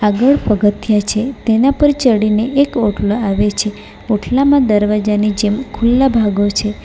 આગળ પગથિયા છે તેના પર ચડીને એક ઓટલો આવે છે ઓટલામાં દરવાજાની જેમ ખુલ્લા ભાગો છે.